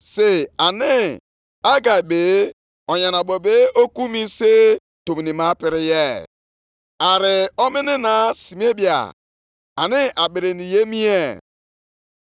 Mgbe ahụ Hegai, onyeozi Onyenwe anyị, ziri ndị mmadụ ahụ niile ozi Onyenwe anyị, sị: “Mụ onwe m nọnyeere unu,” otu a ka Onyenwe anyị kwupụtara.